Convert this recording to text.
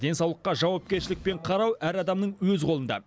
денсаулыққа жауапкершілікпен қарау әр адамның өз қолында